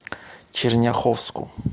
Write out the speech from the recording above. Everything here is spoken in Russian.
черняховску